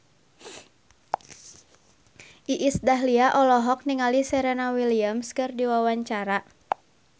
Iis Dahlia olohok ningali Serena Williams keur diwawancara